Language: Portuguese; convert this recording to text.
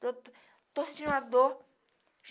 Doutor, estou sentindo uma dor.